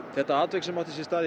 þetta atvik sem átti sér stað